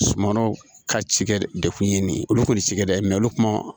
Sumanw ka cikɛ de kun ye nin ye olu kɔni cikɛ dɛ olu kuma